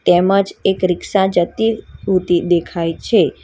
તેમજ એક રિક્સા જતી ઉતી દેખાઈ છે.